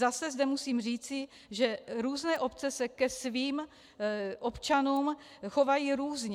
Zase zde musím říci, že různé obce se ke svým občanům chovají různě.